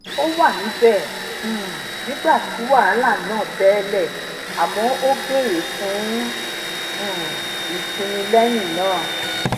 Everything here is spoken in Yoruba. ó wà níbẹ um nígbà tí wàhálà náà bele àmọ ó bere fún um ìsinmi lẹyìn náà